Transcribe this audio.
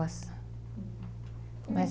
Mas...